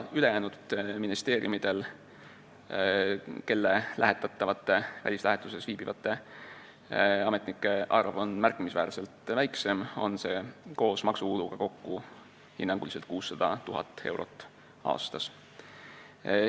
Ülejäänud ministeeriumidel, kelle lähetatavate välislähetuses viibivate ametnike arv on märkimisväärselt väiksem, on see koos maksukuludega kokku hinnanguliselt 600 000 eurot aastas.